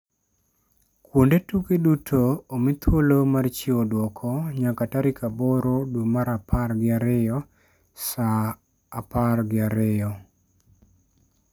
Kuonde tuke duto omi thuolo mar chiwo dwoko nyaka tarik 8 dwe mar apar gi ariyo saa 18:00 GMT.